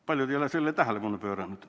Paljud ei ole sellele tähelepanu pööranud.